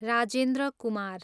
Rajendra Kumar